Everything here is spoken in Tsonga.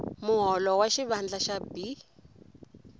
muholo wa xivandla xa b